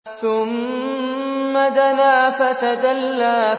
ثُمَّ دَنَا فَتَدَلَّىٰ